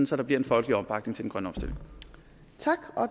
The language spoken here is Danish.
så der bliver en folkelig opbakning til